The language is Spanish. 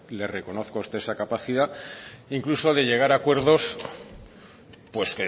le reconozco a usted esa capacidad incluso de llegar a acuerdos pues